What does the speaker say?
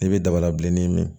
I bɛ daba la bilennin min